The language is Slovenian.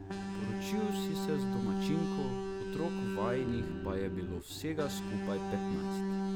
Poročil si se z domačinko, otrok vajinih pa je bilo vsega skupaj petnajst.